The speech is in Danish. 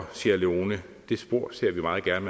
sierra leone det spor ser vi meget gerne